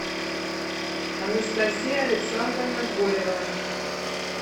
анастасия александровна горева